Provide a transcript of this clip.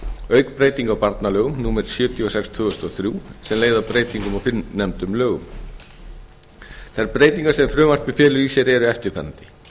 auk breytinga á barnalögum númer sjötíu og sex tvö þúsund og þrjú sem leiði af breytingum á fyrrnefndum lögum þær breytingar sem frumvarpið felur í sér eru eftirfarandi